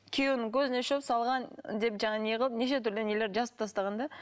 күйеуінің көзіне шөп салған деп жаңағы не қылып неше түрлі нелер жазып тастаған да